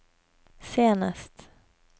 senest